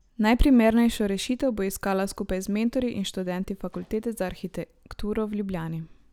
Najprimernejšo rešitev bo iskala skupaj z mentorji in študenti Fakultete za arhitekturo v Ljubljani.